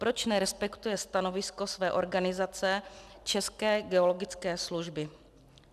Proč nerespektuje stanovisko své organizace České geologické služby?